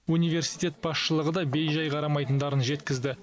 университет басшылығы да бейжай қарамайтындарын жеткізді